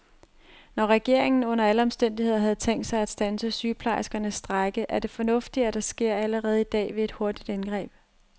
Når regeringen under alle omstændigheder havde tænkt sig at standse sygeplejerskernes strejke, er det fornuftigt, at det sker allerede i dag ved et hurtigt indgreb.